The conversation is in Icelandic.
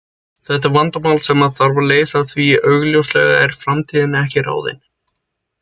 Þetta er vandamál sem þarf að leysa því augljóslega er framtíðin ekki fyrirfram ráðin.